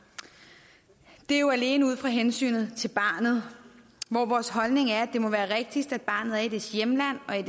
det er jo alene ud fra hensynet til barnet hvor vores holdning er at det må være rigtigst at barnet er i sit hjemland og i